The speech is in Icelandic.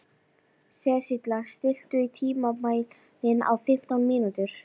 Sesilía, stilltu tímamælinn á fimmtán mínútur.